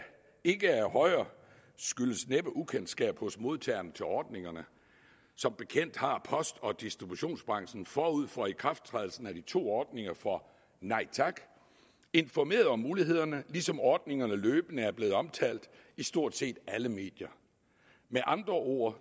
ikke er højere skyldes næppe ukendskab hos modtagerne til ordningerne som bekendt har post og distributionsbranchen forud for ikrafttrædelsen af de to ordninger for nej tak informeret om mulighederne ligesom ordningerne løbende er blevet omtalt i stort set alle medier med andre ord